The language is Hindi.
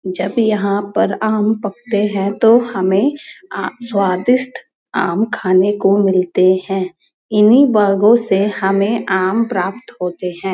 जब यहां पर आम पकते हैं तो हमें आ स्वादिष्ट आम खाने को मिलते हैं। इन्हीं बागों से हमें आम प्राप्त होते हैं।